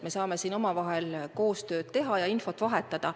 Me saame omavahel koostööd teha ja infot vahetada.